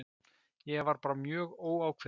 Ég var bara mjög óákveðinn.